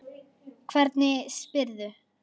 Hvernig spyrðu.